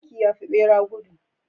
Zaki yafi bera gudu